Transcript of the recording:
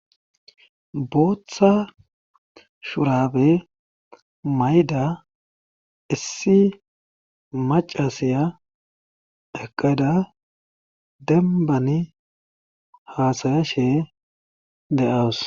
booththa shurabe mayda issi macasiya eqqeda denbani haasayashee de'awus